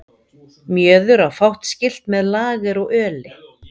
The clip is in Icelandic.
Mjöður á fátt skylt með lager og öli.